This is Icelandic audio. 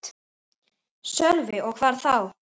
Sölvi: Og hvar þá?